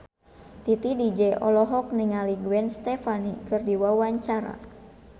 Titi DJ olohok ningali Gwen Stefani keur diwawancara